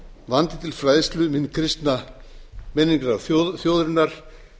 vandi til fræðslu um hinn kristna menningararf þjóðarinnar